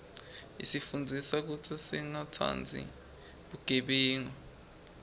isifundzisa kutsi singatsandzi bugebengu